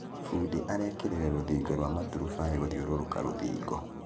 Bundi arekĩrire rũthingo rwa maturubarĩ gũthiũrũrũka rũthingo